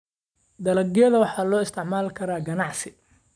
Dalagyada waxaa loo isticmaali karaa ganacsi.